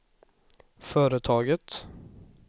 företaget